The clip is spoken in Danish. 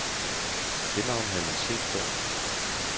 Det navn havde man set før.